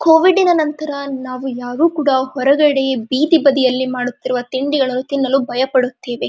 ಕೋವಿಡಿನ ನಂತರ ನಾವು ಯಾರು ಕೂಡ ಹೊರಗಡೆ ಬೀದಿಬದಿಯಲ್ಲಿ ಮಾಡುತ್ತಿರುವ ತಿಂಡಿಗಳು ತಿನ್ನಲು ಭಯ ಪಡುತ್ತೇವೆ.